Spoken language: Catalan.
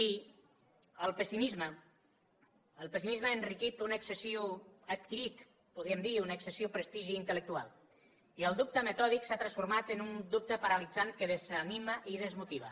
i el pessimisme ha adquirit podríem dir un excessiu prestigi intel·lectual i el dubte metòdic s’ha transformat en un dubte paralitzant que desanima i desmotiva